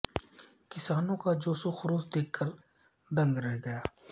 کسانوں کا جوش وخروش دیکھ کر دنگ رہ گیا